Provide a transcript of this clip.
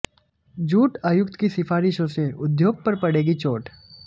jute आयुक्त की सिफारिशों से उद्योग पर पड़ेगी चोट